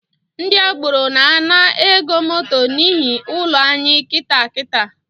Ndi agboro na-ana ego moto n’ihi ụlọ anyị kịtaa kitaa